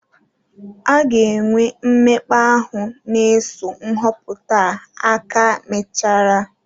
A ga-enwe mmekpa ahụ na-eso nhọpụta a aka mechara.